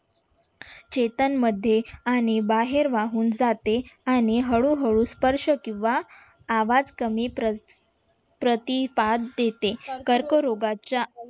शेतामध्ये आणि बाहेर वाहून जाते आणि हळूहळू स्पर्श किंवा आवाज कमी प्रतिसाद देते कर्करोगाच्या